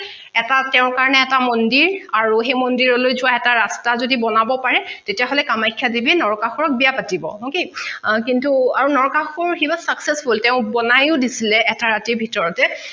এটা তেঁও কাৰণে এটা মন্দিৰ আৰু সেই মন্দিৰলৈ যোৱা এটা ৰাস্তা যদি বনাব পাৰে তেতিয়া হলে কামাখ্যা দেৱীয়ে নৰকাসুৰক বিয়া পাতিব okay কিন্তু আৰু নৰকাসুৰ he was successful তেঁও বনাইও দিচিলে এটা ৰাতিৰ ভিতৰতে